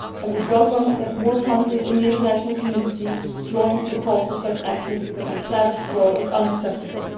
We would welcome it if more countries in the international community were to join the call for such actions, because the status quo is unacceptable.